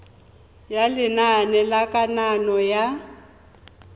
ya lenane la kananyo ya